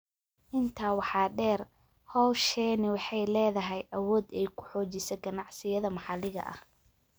Intaa waxaa dheer, hawshani waxay leedahay awood ay ku xoojiso ganacsiyada maxalliga ah.